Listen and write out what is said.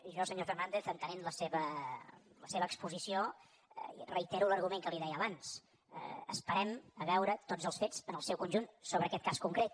jo senyor fernàndez entenent la seva exposició reitero l’argument que li deia abans esperem a veure tots els fets en el seu conjunt sobre aquest cas concret